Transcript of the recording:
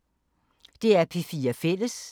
DR P4 Fælles